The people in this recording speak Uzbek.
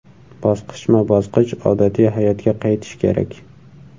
Bosqichma-bosqich odatiy hayotga qaytish kerak.